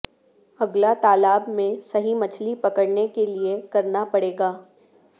اگلا طالاب میں صحیح مچھلی پکڑنے کے لئے کرنا پڑے گا